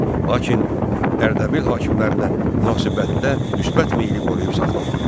Lakin Ərdəbil hakimlərinə münasibətdə müsbət meyli qoruyub saxlamadı.